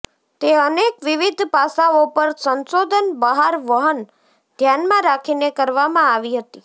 તે અનેક વિવિધ પાસાઓ પર સંશોધન બહાર વહન ધ્યાનમાં રાખીને કરવામાં આવી હતી